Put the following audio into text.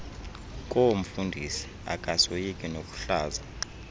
koomfundisi akasoyiki nokuhlaza